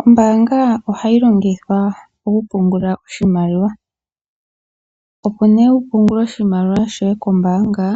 Ombaanga ohayi longithwa okupungula oshimaliwa. Opo nee wupungule oshimaliwa shoye kombaanga